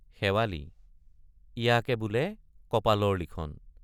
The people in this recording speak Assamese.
শেৱালি—ইয়াকে বোলে কপালৰ লিখন।